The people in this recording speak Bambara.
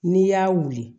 N'i y'a wuli